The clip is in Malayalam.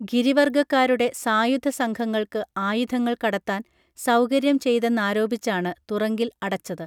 ഗിരിവർഗ്ഗക്കാരുടെ സായുധ സംഘങ്ങൾക്ക് ആയുധങ്ങൾ കടത്താൻ സൗകര്യം ചെയ്തെന്നാരോപിച്ചാണ് തുറങ്കിൽ അടച്ചത്